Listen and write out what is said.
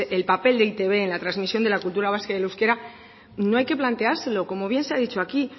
el papel de e i te be en la transmisión de la cultura vasca y del euskera no hay que planteárselo como bien se ha dicho aquí